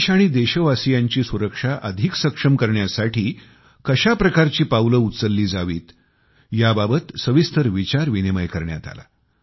देश आणि देशवासीयांची सुरक्षा अधिक सक्षम करण्यासाठी कशा प्रकारची पावले उचलली जावीत याबाबत सविस्तर विचारविनिमय करण्यात आला